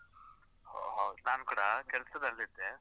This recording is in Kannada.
ಒಹ್ ಹೌ, ನಾನ್ ಕೂಡ ಕೆಲ್ಸದಲ್ಲಿದ್ದೆ.